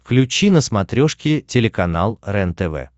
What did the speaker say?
включи на смотрешке телеканал рентв